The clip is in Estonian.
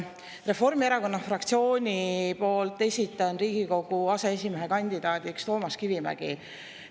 Reformierakonna fraktsiooni poolt esitan Riigikogu aseesimehe kandidaadiks Toomas Kivimägi.